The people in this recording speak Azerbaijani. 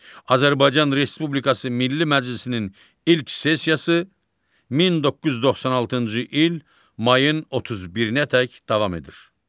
Azərbaycan Respublikası Milli Məclisinin ilk sessiyası 1996-cı il mayın 31-nədək davam edir.